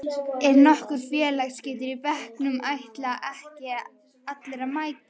Er nokkur félagsskítur í bekknum ætla ekki allir að mæta?